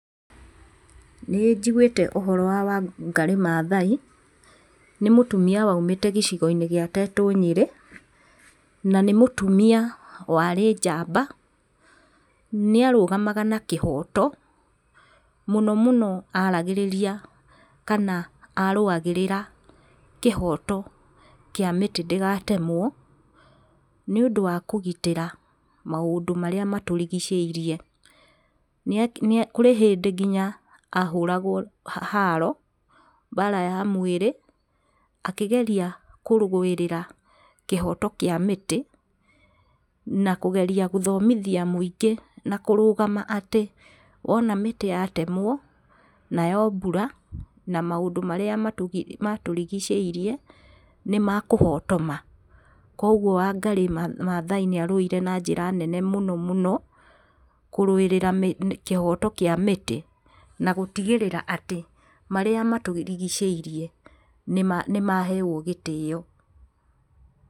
Nĩ njiguĩte ũhoro wa Wangari Maathai. Nĩ mũtumia waumĩte gĩcigo-inĩ gĩa Tetũ Nyerĩ na nĩ mũtumia warĩ njamba. Nĩ arũgamaga na kĩhoto, mũno mũno aragĩrĩria kana arũagĩrĩra kĩhoto kĩa mĩtĩ ndĩgatemwo nĩ ũndũ wa kũgitĩra maũndũ marĩa matũrigicĩirie. Kũrĩ hĩndĩ nginya ahũragwo haro mbara ya mwĩrĩ akĩgeria kũrũĩrĩra kĩhoto kĩa mĩtĩ, na kũgeria gũthomithia mũingĩ na kũrũgama atĩ wona mĩtĩ yatemwo nayo mbura na maũndũ marĩa matũrigicĩirie nĩ makũhotoma. Koguo Wangarĩ Mathaai nĩ arũire na njĩra nene mũno mũno kũrũĩrĩra kĩhoto kĩa mĩtĩ, na gũtigĩrĩra atĩ marĩa matũrigiciĩrie nĩ maheo gĩtĩo.